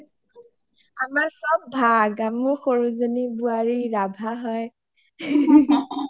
আমাৰ চব ভাগ মোৰ সৰু জনি বোৱাৰি ৰাভা হয়